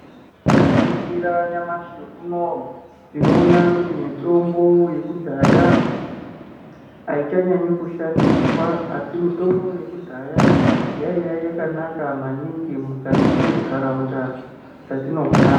Tikaringira nyamashi unowu tinoona kuti mitombo yekudhaya aichanyanyi kushandiswa asi mutombo yekudhaya yaiya yakanaka maningi mukati mwentaraunda dzatinogogara.